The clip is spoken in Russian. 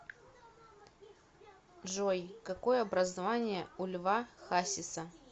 джой какое образование у льва хасиса